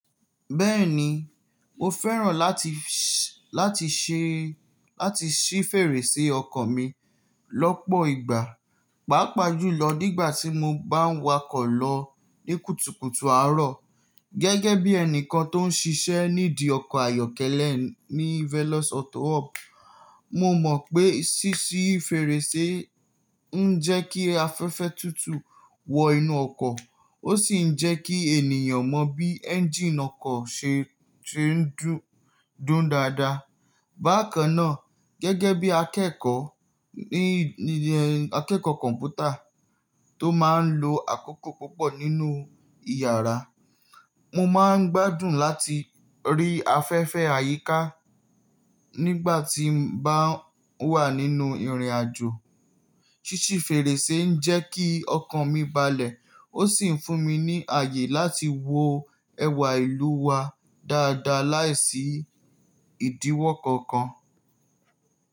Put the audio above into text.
Bẹ́ẹ̀ni, mo fẹ́ràn láti, láti ṣe, láti ṣí fèrèsé ọkọ̀ mi lọ́pọ̀ ìgbà, pàápàá jùlọ nígbà tí mo bá ń wakọ̀ lọ ní kùtùkùtù àárọ̀. Gẹ́gẹ́ bí ẹnìkan tó ń ṣiṣẹ́ nídi ọkọ̀ ayọ́kẹ́lẹ́ ní Velos Auto Hub, mo mọ̀ pé ṣíṣí fèrèsé ń jẹ́ kí afẹ́fẹ́ tútù wọ inú ọkọ̀, ó sì ń jẹ́ kí ènìyàn mọ bí ẹ́ńjíìnì ọkọ̀ ṣe, ṣe ń dún, dùn dáadáa. Bákan náà, gẹ́gẹ́ bí akẹ́kọ̀ọ́ ní, akẹ́kọ̀ọ́ kọ̀m̀pútà tó máa ń lo àkókò púpọ̀ nínú ìyàrá, mo máa ń gbádùn láti rí afẹ́fẹ́ àyíká nígbà tí mo bá wà nínú ìrìnàjò. Ṣíṣí fèrèsé ń jẹ́ kí ọkan mi balẹ̀ ó sì ń fún mi ní ààyè láti wo ẹwà ìlú wa dáadáa láìsí ìdíwọ́ kankan.